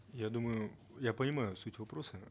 я думаю я понимаю суть вопроса